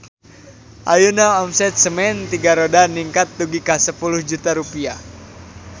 Ayeuna omset Semen Tiga Roda ningkat dugi ka 10 juta rupiah